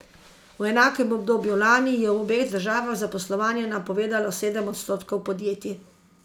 V enakem obdobju lani je v obeh državah zaposlovanje napovedalo sedem odstotkov podjetij.